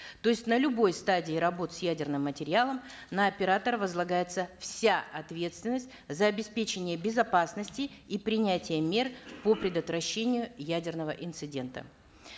то есть на любой стадии работ с ядерным материалом на оператора возлагается вся ответственность за обеспечение безопасности и принятия мер по предотвращению ядерного инцидента